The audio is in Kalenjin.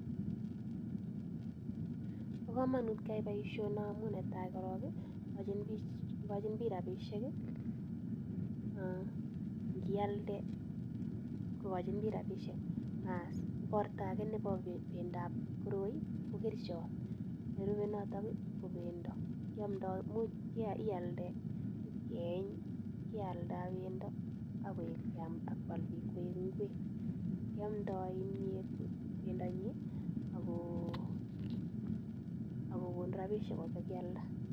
Pakamanuut keaii poishonii amujn netaii koron kokachin piik rapisheek imuch korakoek amitwagik kiamdai kimnyeeet ako konuu rapisheek mising